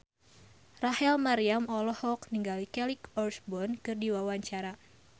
Rachel Maryam olohok ningali Kelly Osbourne keur diwawancara